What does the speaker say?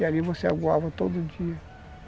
E ali você aguava todo dia.